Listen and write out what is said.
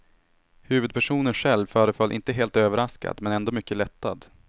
Huvudpersonen själv föreföll inte helt överraskad men ändå mycket lättad.